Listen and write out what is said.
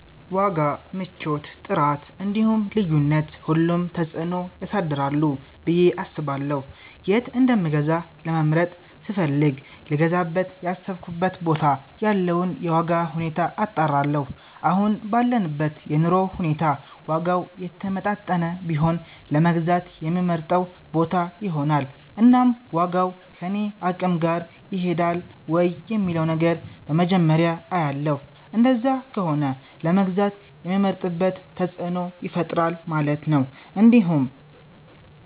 ዋጋ፣ ምቾት፣ ጥራት እንዲሁም ልዩነት ሁሉም ተፅእኖ ያሳድራሉ ብየ አስባለሁ የት እንደምገዛ ለመምረጥ ስፈልግ ልገዛበት ያሰብኩበት ቦታ ያለውን የዋጋ ሁኔታ አጣራለሁ አሁን ባለንበት የኑሮ ሁኔታ ዋጋው የተመጣጠነ ቢሆን ለመግዛት የምመርጠው ቦታ ይሆናል እናም ዋጋው ከኔ አቅም ጋር ይሄዳል ወይ የሚለውን ነገር በመጀመርያ አያለሁ እንደዛ ከሆነ ለመግዛት የምመርጥበት ተፅእኖ ይፈጥራል ማለት ነው እንዲሁም